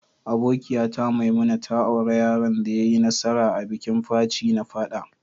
Abokiya ta Maimuna ta aura yaron da ya yi nasara a'bikin Faci na fada.